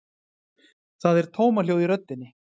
Það er tómahljóð í röddinni.